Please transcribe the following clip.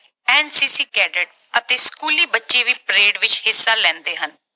NCC cadet ਅਤੇ ਸਕੂਲੀ ਬੱਚੇ ਵੀ parade ਵਿੱਚ ਹਿੱਸਾ ਲੈਂਦੇ ਹਨ।